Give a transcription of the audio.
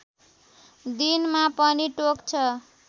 दिनमा पनि टोक्छ